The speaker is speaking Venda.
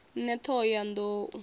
ṋne t hoho ya nḓou